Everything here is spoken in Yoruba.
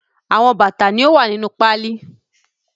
The lace was sent from the United States